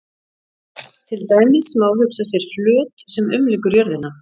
Til dæmis má hugsa sér flöt sem umlykur jörðina.